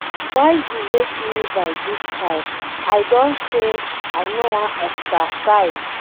Why you wake me by dis time. I don say I no wan exercise.